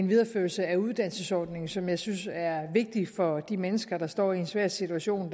videreførelsen af uddannelsesordningen som jeg synes er vigtig for de mennesker der står i en svær situation